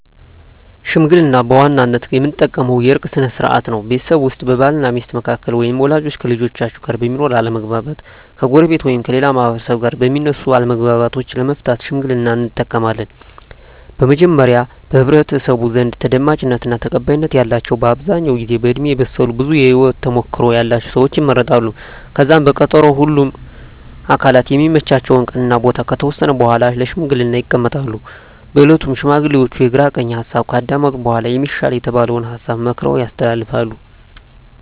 ሽምግልና በዋናነት የምንጠቀምበት የእርቅ ስነ ስርዓት ነው። ቤተሰብ ውስጥ በባል እና ሚስት መካከል ወይም ወላጆች ከልጆቻቸው ጋር በሚኖር አለመግባባት፣ ከጎረቤት ወይም ከሌላ ማህበረሰብ ጋር በሚነሱ አለመግባባቶች ለመፍታት ሽምግልናን እንጠቀማለን። በመጀመሪያ በህብረተሰቡ ዘንድ ተደማጭነት እና ተቀባይነት ያላቸው በአብዛኛው ጊዜ በእድሜ የበሰሉ ብዙ የህወት ተሞክሮ ያለቸው ሰወች ይመረጣሉ። ከዛም በቀጠሮ ሁምም አካላት የሚመቻቸውን ቀን እና ቦታ ከተወሰነ በኃላ ለሽምግልና ይቀመጣሉ። በእለቱም ሽማግሌዎቹ የግራ ቀኝ ሀሳብ ካዳመጡ በኃላ የሚሻል የተባለውን ሀሳብ መክረው ያስተላልፋሉ።